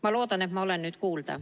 Ma loodan, et mind on nüüd kuulda.